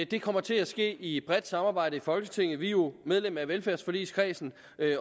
det kommer til at ske i et bredt samarbejde i folketinget vi er jo medlem af velfærdsforligskredsen